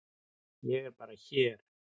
Ég er bara hér.